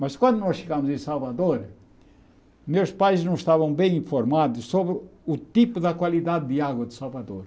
Mas quando nós chegamos em Salvador, meus pais não estavam bem informados sobre o tipo da qualidade de água de Salvador.